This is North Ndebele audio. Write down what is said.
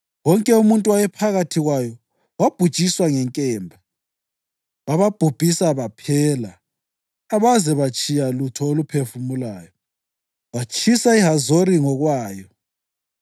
Wonke umuntu owayephakathi kwayo wabhujiswa ngenkemba. Bababhubhisa baphela, abaze batshiya lutho oluphefumulayo, watshisa iHazori ngokwayo.